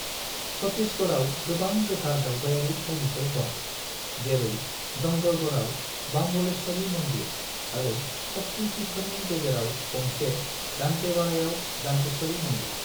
छत्तीसगढ़आव गोबां गोथार दावबायारि थावनिफोर दं, जेरै डंगरगढ़आव बम्बलेश्वरी मन्दिर आरो शक्ति पीठफोरनि गेजेराव गंसे दंतेवाड़ायाव दंतेश्वरी मन्दिर।